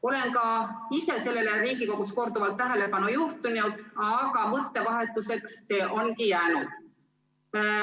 Olen ka ise Riigikogus sellele korduvalt tähelepanu juhtinud, aga mõttevahetuseks on see jäänudki.